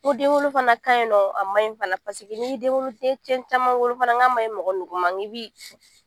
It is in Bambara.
Ko denwolo fana ka ɲi nɔ a man ɲi fana n'i ye den cɛ caman fana wolo n ka ma ɲi nugu ma n k'i bi